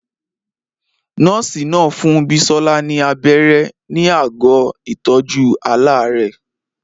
Nọ́ọ̀sì náà fún Bisola ní abẹ́rẹ́ ní àgọ́ ìtọ́jú aláàárẹ̀.